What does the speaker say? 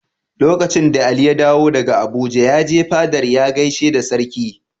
Lokacin da Ali ya dawo daga Abuja, ya je fadar ya gaishe da Sarki.